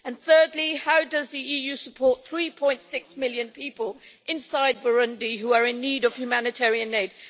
Thirdly, how does the EU support the 3.6 million people inside Burundi who are in need of humanitarian aid?